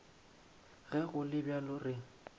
ge go le bjalo re